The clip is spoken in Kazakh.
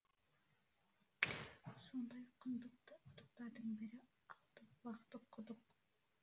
сондай құндық құдықтардың бірі алтықұлақтағы құдық